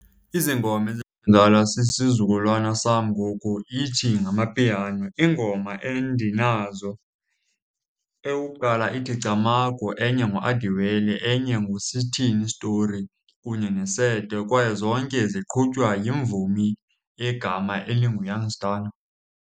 Izingoma ezidlalwa sisizukulwana sam ngoku ithi ngamapiano. Iingoma endinazo, eyokuqala ithi Camagu, enye nguAdiwele, enye nguSithini iStory kunye neSete kwaye zonke ziqhutywa yimvumi egama elinguYoung Stunna.